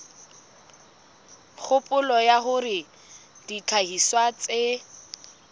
kgopolo ya hore dihlahiswa tse